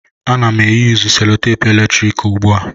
Ana m eyusu selutepu eletrik ugbu a.